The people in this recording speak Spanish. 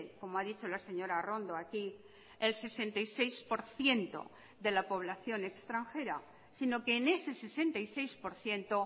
como ha dicho la señora arrondo aquí el sesenta y seis por ciento de la población extranjera sino que en ese sesenta y seis por ciento